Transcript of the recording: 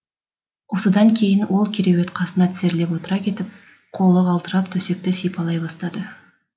осыдан кейін ол кереует қасына тізерлеп отыра кетіп қолы қалтырап төсекті сипалай бастады